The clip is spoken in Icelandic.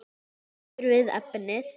Höldum okkur við efnið.